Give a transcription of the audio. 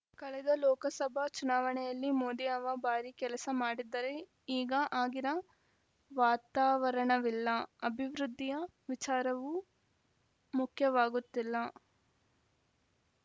ಕಳೆದ ಲೋಕಸಭಾ ಚುನಾವಣೆಯಲ್ಲಿ ಮೋದಿ ಹವಾ ಭಾರೀ ಕೆಲಸ ಮಾಡಿದ್ದರೆ ಈಗ ಆಗಿನ ವಾತಾವರಣವಿಲ್ಲ ಅಭಿವೃದ್ಧಿಯ ವಿಚಾರವೂ ಮುಖ್ಯವಾಗುತ್ತಿಲ್ಲ